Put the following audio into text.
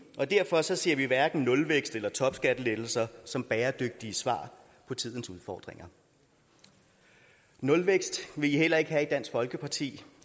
og derfor ser vi hverken nulvækst eller topskattelettelser som bæredygtige svar på tidens udfordringer nulvækst vil i heller ikke have i dansk folkeparti